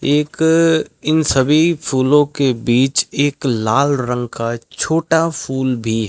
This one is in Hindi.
एक इन सभी फूलों के बीच एक लाल रंग का छोटा फूल भी --